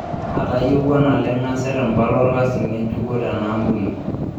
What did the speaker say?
Atayiewua naleng nasirr mpala olkasi ng'ejukoo tenaampuni.